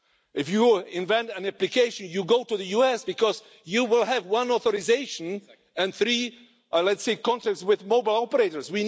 US. If you invent an application, you go to the US because you will have one authorisation and three, let's say, contracts with mobile operators.